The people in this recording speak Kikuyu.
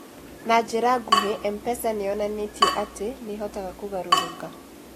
Na njĩra nguhĩ, M-PESA nĩ yonanĩtie atĩ nĩ ĩhotaga kũgarũrũka.